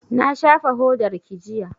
Na shafa hodarki jiya